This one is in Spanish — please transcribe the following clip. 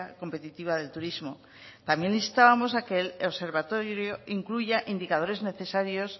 competitiva del turismo también instábamos a que el observatorio incluya indicadores necesarios